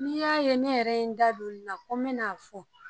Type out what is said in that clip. N'i y'a ye ne yɛrɛ ye n da don nin na la ko n bɛ n'a fɔ.